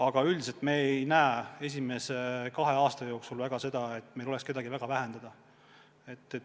Aga üldiselt me ei näe, et esimese kahe aasta jooksul oleks kohti vaja väga vähendada.